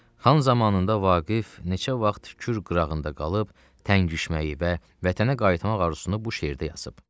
Xan zamanında Vaqif neçə vaxt Kür qırağında qalıb təngişməyi və vətənə qayıtmaq arzusunu bu şeirdə yazıb.